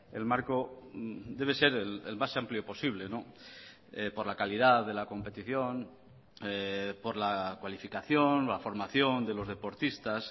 el marco debe ser el más amplio posible por la calidad de la competición por la cualificación la formación de los deportistas